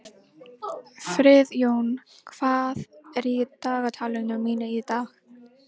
Friðjón, hvað er í dagatalinu mínu í dag?